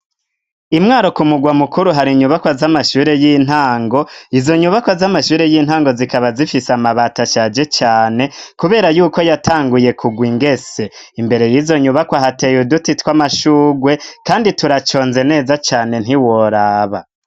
Imwaro ku mugwa mukuru hari inyubakwa z'amashure y'intango izo nyubakwa z'amashure y'intango zikaba zifise amabatashaje cane, kubera yuko yatanguye kugwa ingese imbere y'izo nyubakwa hateye duti tw'amashugwe, kandi turaconze neza cane ntiworaba.